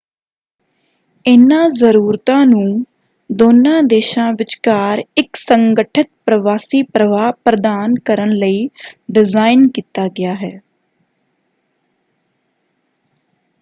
ਇਨ੍ਹਾਂ ਜਰੂਰਤਾਂ ਨੂੰ ਦੋਨਾਂ ਦੇਸ਼ਾਂ ਵਿਚਕਾਰ ਇੱਕ ਸੰਗਠਿਤ ਪ੍ਰਵਾਸੀ ਪ੍ਰਵਾਹ ਪ੍ਰਦਾਨ ਕਰਨ ਲਈ ਡਿਜ਼ਾਇਨ ਕੀਤਾ ਗਿਆ ਹੈ।